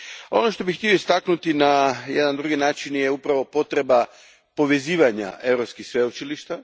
Ono što bih htio istaknuti na jedan drugi način je upravo potreba povezivanja europskih sveučilišta.